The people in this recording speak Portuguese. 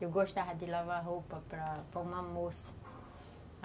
Eu gostava de lavar roupa para para uma moça.